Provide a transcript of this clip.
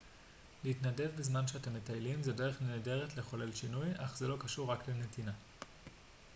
להתנדב בזמן שאתם מטיילים זו דרך נהדרת לחולל שינוי אך זה לא קשור רק לנתינה